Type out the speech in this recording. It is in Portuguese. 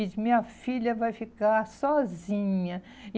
E minha filha vai ficar sozinha.